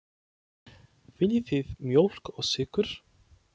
Viljið þið mjólk og sykur?